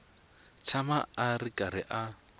tshama a ri karhi a